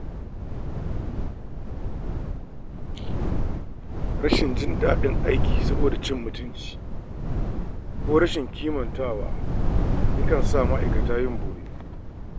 Rashin jin daɗin aiki saboda cin mutunci ko rashin ƙimantawa ya kan sa ma’aikata yin bore.